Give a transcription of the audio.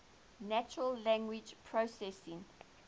natural language processing